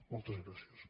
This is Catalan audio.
moltes gràcies